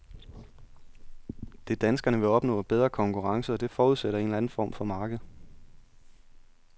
Det, danskerne vil opnå, er bedre konkurrence, og det forudsætter en eller anden form for marked.